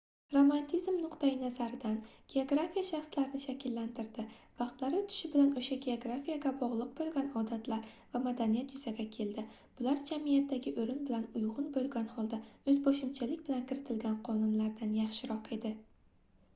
romantizm nuqtai-nazaridan geografiya shaxslarni shakllantirdi vaqtlar oʻtishi bilan oʻsha geografiyaga bogʻliq boʻlgan odatlar va madaniyat yuzaga keldi bular jamiyatdagi oʻrin bilan uygʻun boʻlgan holda oʻzboshimchalik bilan kiritilgan qonunlardan yaxshiroq edi